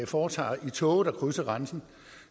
foretager i tog der krydser grænsen